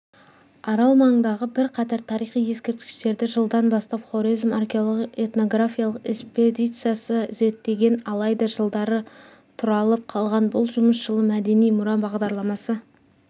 арал маңындағы бірқатар тарихи ескерткіштерді жылдан бастап хорезм археологиялық-этнографиялық эспедициясы зерттеген алайда жылдары тұралап қалған бұл жұмыс жылы мәдени мұра бағдарламасы